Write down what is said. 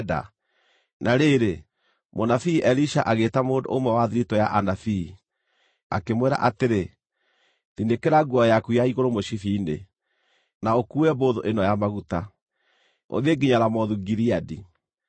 Na rĩrĩ, mũnabii Elisha agĩĩta mũndũ ũmwe wa thiritũ ya anabii, akĩmwĩra atĩrĩ, “Thinĩkĩra nguo yaku ya igũrũ mũcibi-inĩ, na ũkuue mbũthũ ĩno ya maguta, ũthiĩ nginya Ramothu-Gileadi.